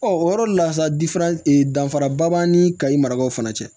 o yɔrɔ le la sa danfaraba b'an ni kayi marakaw fana cɛ